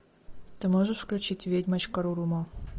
ты можешь включить ведьмочка рурумо